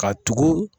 Ka tugu